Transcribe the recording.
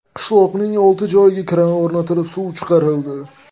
Qishloqning olti joyiga kran o‘rnatilib suv chiqarildi.